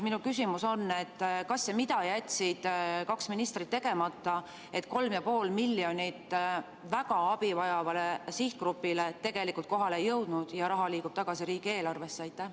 Minu küsimus on: kas ja mida jätsid kaks ministrit tegemata, et 3,5 miljonit eurot abi väga vajavale sihtgrupile tegelikult kohale ei jõudnud ja raha liigub tagasi riigieelarvesse?